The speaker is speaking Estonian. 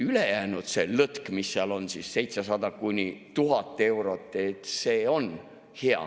Ülejäänud, see lõtk, mis seal on, 700–1000 eurot, see on hea.